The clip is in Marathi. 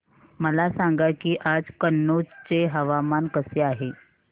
मला सांगा की आज कनौज चे हवामान कसे आहे